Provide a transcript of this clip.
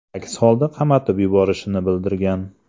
Aks holda qamatib yuborishini bildirgan.